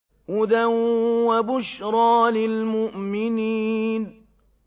هُدًى وَبُشْرَىٰ لِلْمُؤْمِنِينَ